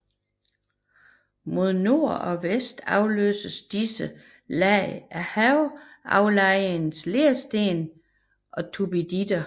Mod nord og vest afløses disse lag af havaflejrede lersten og turbiditter